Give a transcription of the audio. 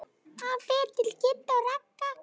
Hann fer til Kidda og Ragga.